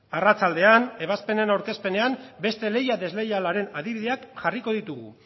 arratsaldean ebazpenenen aurkezpenean beste lehia desleialaren adibideak jarriko ditugu